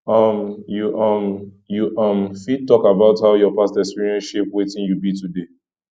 um you um you um fit talk about how your past experiences shape wetin you be today